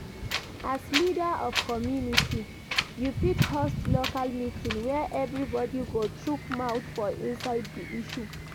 As leader of community, you fit host local meeting where everybody go chook mouth for inside di issue